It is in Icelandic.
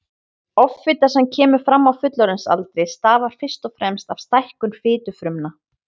Offita sem kemur fram á fullorðinsaldri stafar fyrst og fremst af stækkun fitufrumna.